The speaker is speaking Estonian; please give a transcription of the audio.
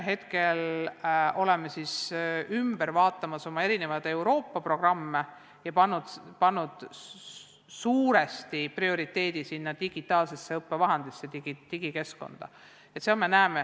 Hetkel oleme üle vaatamas oma Euroopa programme ja seadnud suuresti prioriteediks digitaalsed õppevahendid, digikeskkonna.